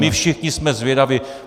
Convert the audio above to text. My všichni jsme zvědavi.